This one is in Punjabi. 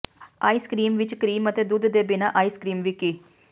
ਆਈਸ ਕ੍ਰੀਮ ਵਿੱਚ ਕਰੀਮ ਅਤੇ ਦੁੱਧ ਦੇ ਬਿਨਾਂ ਆਈਸ ਕ੍ਰੀਮ ਵਿਕੀ